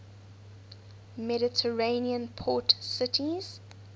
mediterranean port cities